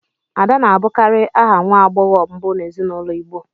Ada na-abụkarị aha nwa agbọghọ mbụ n'ezinụlọ igbo